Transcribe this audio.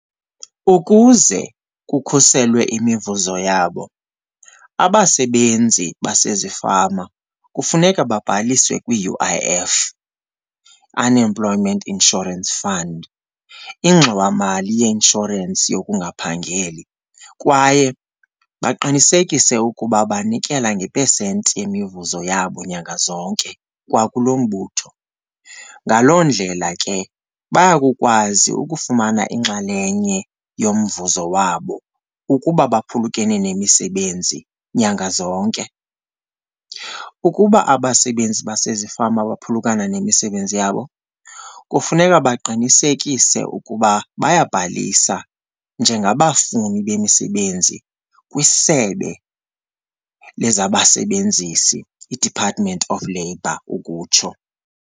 Ukuze kukhuselwe imivuzo yabo abasebenzi basezifama kufuneka babhaliswe kwi-U_I_F, Unemployment Insurance Fund, ingxowamali yeinshorensi yokungaphangeli kwaye baqinisekise ukuba banikela ngepesenti yemivuzo yabo nyanga zonke kwa kulo mbutho. Ngaloo ndlela ke bayakukwazi ukufumana inxalenye yomvuzo wabo ukuba baphulukene nemisebenzi nyanga zonke. Ukuba abasebenzi basezifama baphulukana nemisebenzi yabo kufuneka baqinisekise ukuba bayabhalisa njengabafuni bemisebenzi kwisebe lezabasebenzisi, iDepartment of Labour ukutsho.